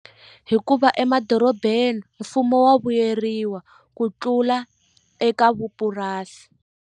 Hikuva emadorobeni mfumo wa vuyeriwa ku tlula eka vupurasi.